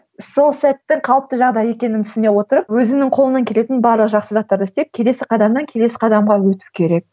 сол сәтті қалыпты жағдай екенін түсіне отырып өзінің қолынан келетін барлық жақсы заттарды істеп келесі қадамнан келесі қадамға өту керек